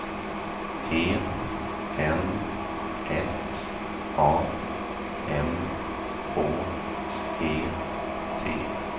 E N S A M H E T